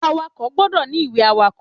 Àwàkó gbọ̀ dọ̀ ni ìwé àwàkó